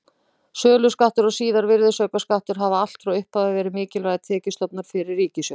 Söluskattur og síðar virðisaukaskattur hafa allt frá upphafi verið mikilvægir tekjustofnar fyrir ríkissjóð.